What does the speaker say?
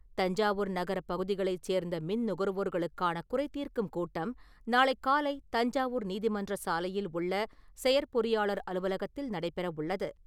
தஞ்சாவூர் நகரப் பகுதிகளைச் சேர்ந்த மின் நுகர்வோர்களுக்கான குறைதீர்க்கும் கூட்டம் நாளை காலை தஞ்சாவூர் நீதிமன்றச் சாலையில் உள்ள செயற்பொறியாளர் அலுவலகத்தில் நடைபெறவுள்ளது.